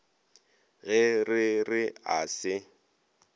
ge re re a se